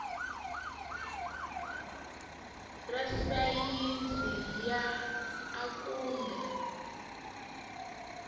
ra sayizi ya a kumbe